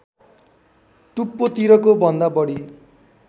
टुप्पोतिरको भन्दा बढी